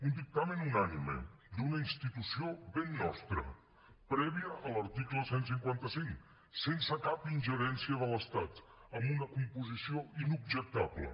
un dictamen unànime d’una institució ben nostra prèvia a l’article cent i cinquanta cinc sense cap ingerència de l’estat amb una composició inobjectable